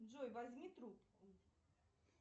джой возьми трубку